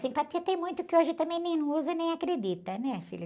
Simpatia tem muito que hoje também nem, não usa e nem acredita, né, filho?